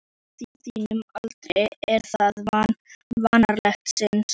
Á þínum aldri er það vanalega sinin.